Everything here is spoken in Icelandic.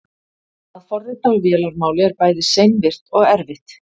að forrita á vélarmáli er bæði seinvirkt og erfitt